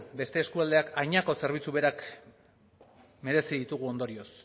beste eskualdeak hainako zerbitzu berak merezi ditugu ondorioz